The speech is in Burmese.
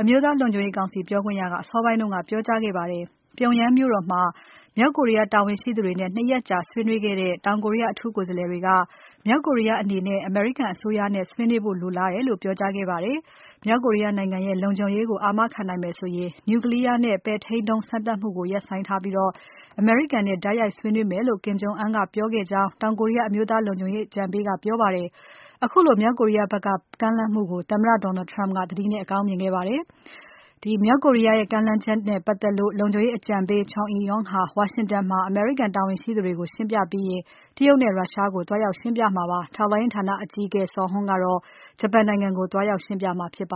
အမျိုးသားလုံခြုံရေးကောင်စီပြောခွင့်ရက အစောပိုင်းက ပြောကြားခဲ့ပါတယ်။ ပြုံယမ်းမြို့တော်မှာ မြောက်ကိုရီးယားတာဝန်ရှိသူတွေနဲ့ ၂ ရက်ကြာ ဆွေးနွေးခဲ့တဲ့ တောင်ကိုရီးယားအထူးကိုယ်စားလှယ်တွေက မြောက်ကိုရီးယားအနေနဲ့ အမေရိကန်အစိုးရနဲ့ ဆွေးနွေးဖို့လိုလားတယ်လို့ ပြောကြားခဲ့ပါတယ်။ မြောက်ကိုရီးယားနိုင်ငံရဲ့ လုံခြုံရေးကို အာမခံနိုင်မယ်ဆိုရင် Nuclear နဲ့ပဲ့ထိန်းဒုံးစမ်းသပ်မှုတွေကို ရပ်ဆိုင်ထားပြီး အမေရိကန်နဲ့တိုက်ရိုက် ဆွေးနွေးမယ်လို့ Kim Jong Un ကပြောကြားခဲ့ကြောင်း တောင်ကိုရီးယား အမျိုးသားလုံခြုံရေးအကြံပေးက ပြောပါတယ်။ ခုလိုမြောက်ကိုရီးယားဖက်က ကမ်းလှမ်းမှုကို သမ္မတ Donald Trump က သတိနဲ့အကောင်းမြင်ခဲ့ပါတယ်။ မြောက်ကိုရီးယားရဲ့ကမ်းလှမ်းချက်နဲ့ပါတ်သက်လို့ လုံခြုံရေးအကြံပေး Chung Eui-yong ဟာ ဝါရှင်တန်မှာ အမေရိကန်တာဝန်ရှိသူတွေကို ရှင်းပြပြီးရင် တရုတ်နဲ့ ရုရှားကို သွားရောက်ရှင်းပြမှာဖြစ်ပါတယ်။ ထောက်လှမ်းရေးဌာန အကြီးအကဲ Suh Hoon ကတော့ ဂျပန်နိုင်ငံကို သွားပြီးရှင်းပြမှာ ဖြစ်ပါ